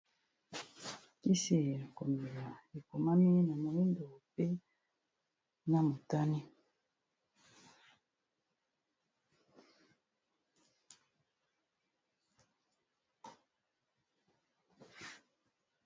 Kisi ya komela ekomami na moyindo mpe na motane.